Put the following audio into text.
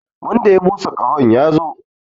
Wanda ya busa ƙahon ya zo!